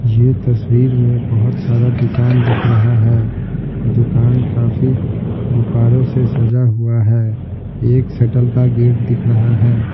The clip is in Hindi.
यह तस्वीर में बहुत सारा दुकान दिख रहा है दुकान काफी गुब्बारों से सजा हुआ है एक सेटल का गेट दिख रहा है--